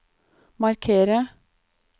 markere